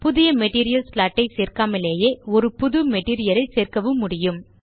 புது material slot ஐ சேர்க்காமலேயே ஒரு புது மெட்டீரியல் ஐ சேர்க்கவும் முடியும்